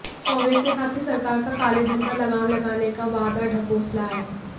कांग्रेस ने कहा कि सरकार का कालेधन पर लगाम लगाने का वादा ढकोसला है